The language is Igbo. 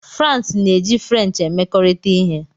France na-eji French emekọrịta ihe.